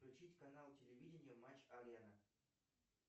включить канал телевидения матч арена